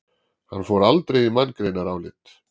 Hann fór aldrei í manngreinarálit.